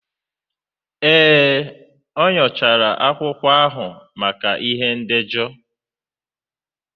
Ee, o nyochara akwụkwọ ahụ maka ihe ndejọ.